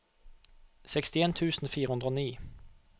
sekstien tusen fire hundre og ni